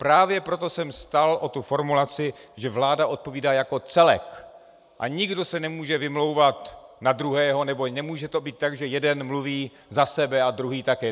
Právě proto jsem stál o tu formulaci, že vláda odpovídá jako celek a nikdo se nemůže vymlouvat na druhého, nebo nemůže to být tak, že jeden mluví za sebe a druhý také.